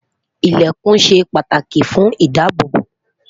ilẹkùn shey pàtàkì fún idaabobo